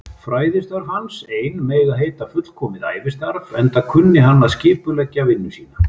Fræðistörf hans ein mega heita fullkomið ævistarf, enda kunni hann að skipuleggja vinnu sína.